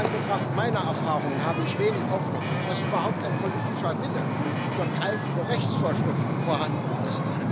In Anbetracht meiner Erfahrungen habe ich wenig Hoffnung, dass überhaupt ein politischer Wille für greifende Rechtsvorschriften vorhanden ist.